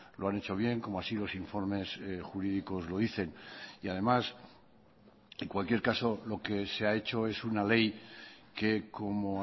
lo han hecho bien como así los informes jurídicos lo dicen y además en cualquier caso lo que se ha hecho es una ley que como